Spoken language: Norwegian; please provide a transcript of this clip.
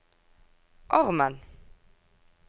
armen